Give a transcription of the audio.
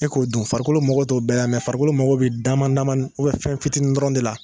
E k'o dun farikolo mago to bɛɛ mɛ farikolo mago bɛ dama damanin fɛn fitiinin dɔrɔnw de la.